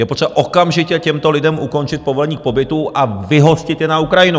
Je potřeba okamžitě těmto lidem ukončit povolení k pobytu a vyhostit je na Ukrajinu.